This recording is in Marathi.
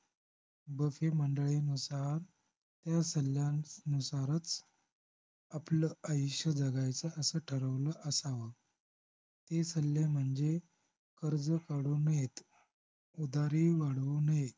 बफे मंडळीनुसार त्या सल्ल्यांनुसारच आपलं आयुष्य जगायचं असं ठरवलं असावं ते सल्ले म्हणजे कर्ज काढू नयेत, उदारी वाढवू नये